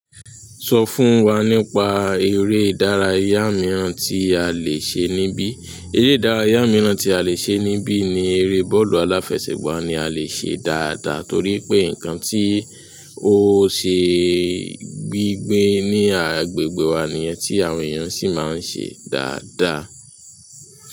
Sọ fún wa nípa ere ìdárayá miran ti a le ṣe nibi. Eré ìdárayá mìíràn tí a lè ṣe níbi ni eré bọ́ọ̀lù aláfẹsẹ̀gbá ni a lè ṣe dáadáa torí pé nǹkan tí ó ṣe gbígbé ní agbègbè wa nìyẹn tí àwọn èèyàn sì máa ń ṣe dáadáa.